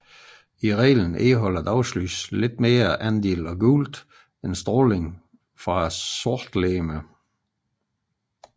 I reglen indeholder dagslys mindre andel af gult end strålingen fra et sortlegeme